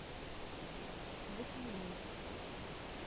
василиной